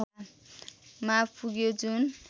मा पुग्यो जुन